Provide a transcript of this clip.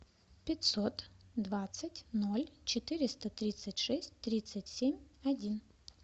пятьсот двадцать ноль четыреста тридцать шесть тридцать семь один